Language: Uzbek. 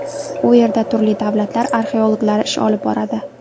U yerda turli davlatlar arxeologlari ish olib boradi.